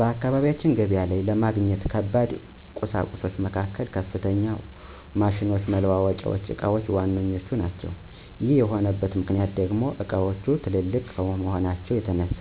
በአካባቢያችን ገበያ ላይ ለማግኘት ከሚከብዱ ቍሳቁሶች መካከል የከፍተኛ ማሽኖች መለዋወጫ እቃ ዋነኛው ነው። ይህ የሆነበት ምክንያት ደሞ እቃዎቹ ትላልቅ ከመሆናቸው የተነሳ